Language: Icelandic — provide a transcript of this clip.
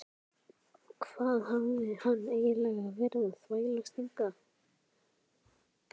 Hvað hafði hann eiginlega verið að þvælast hingað?